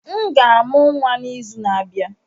M ga-amụ nwa n'izu na-abịa.